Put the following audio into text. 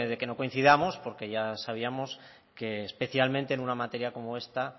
que no coincidamos porque ya sabíamos que especialmente en una materia como esta